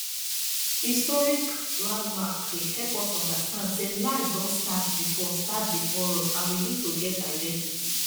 historic landmarks dey help us understand sey life don start before start before us and we need to get identity